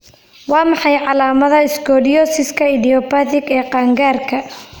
Waa maxay calaamadaha scoliosiska idiopathic ee qaan-gaarka?